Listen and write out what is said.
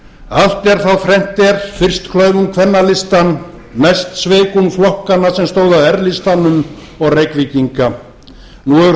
allt er þá þrennt er fyrst klauf hún kvennalistann næst sveik hún flokkana sem stóðu að r listanum og reykvíkinga nú hefur